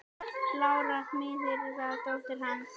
Lára miðill var dóttir hans.